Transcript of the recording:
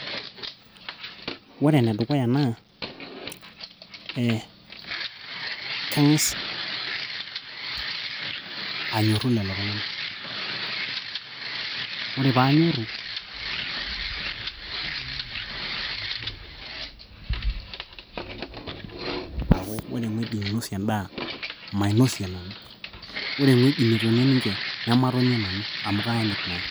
Ore enedukuya naa ee kang'as anyorru lelo tung'anak ore paanyorru aaku ore eng'ueji ninosie endaa mainosie endaa ore ewueji netonie ninche nematonie nanu amu kayanyit naa..